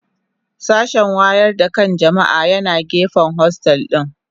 Sashen wayar da kan jama'a yana gefen hostel dina.